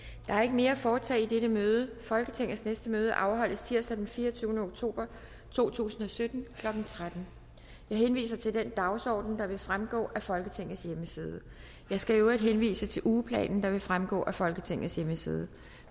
mere at foretage i dette møde folketingets næste møde afholdes tirsdag den fireogtyvende oktober to tusind og sytten klokken tretten jeg henviser til den dagsorden der vil fremgå af folketingets hjemmeside jeg skal i øvrigt henvise til ugeplanen der vil fremgå af folketingets hjemmeside